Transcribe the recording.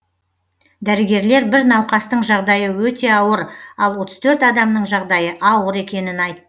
дәрігерлер бір науқастың жағдайы өте ауыр ал отыз төрт адамның жағдайы ауыр екенін айт